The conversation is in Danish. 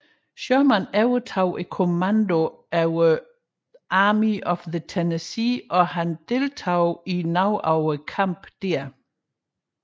Sherman overtog kommandoen over Army of the Tennessee og deltog i nogle af kampene dér